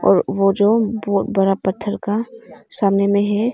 और वो जो बहुत बड़ा पत्थर का सामने में है।